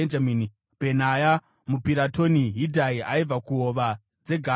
Bhenaya muPiratoni, Hidhai aibva kuhova dzeGaashi,